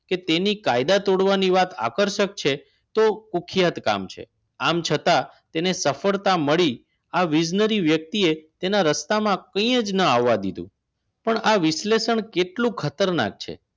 કે તેની કાયદા તોડવાની વાત આકર્ષક છે તો કુખ્યાત કામ છે આમ છતાં તેને સફળતા મળી આવી વ્યક્તિએ તેના રસ્તામાં કંઈ જ જુના આવવા દીધું પણ આ વિશ્લેષણ કેટલું ખતરનાક છે